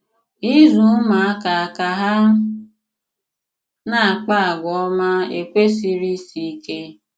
Ịzụ̀ ùmụ̀àkà ka hà na-àkpà àgwà òmá ekwèsìrì ìsì ìkè.